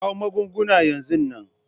Kawo magunguna yanzu nan!